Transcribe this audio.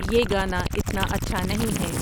یہ گانا اتنا اچھا نہیں ہے